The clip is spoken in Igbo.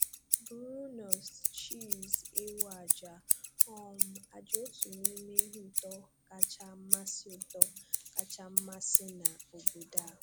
«Brunost» – chíìz èwù àjà um àjà, otu n’ime ihe ùtó kacha masị́ ùtó kacha masị́ na obodo a;